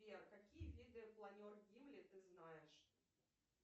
сбер какие виды планер гимли ты знаешь